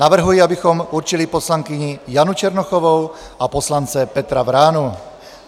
Navrhuji, abychom určili poslankyni Janu Černochovou a poslance Petru Vránu.